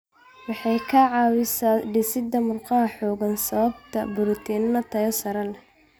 Waxay ka caawisaa dhisidda murqaha xooggan sababtoo ah borotiinno tayo sare leh.